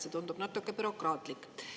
See tundub natuke bürokraatlik.